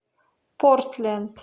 портленд